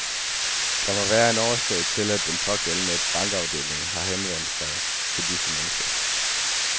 Der må være en årsag til, at den pågældende bankafdeling har henvendt sig til disse mennesker.